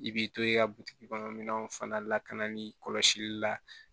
I b'i to i ka butigi minanw fana lakanali kɔlɔsili la